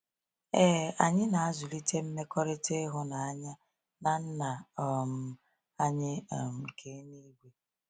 Ee, anyị na-azụlite mmekọrịta ịhụnanya na Nna um anyị nke eluigwe.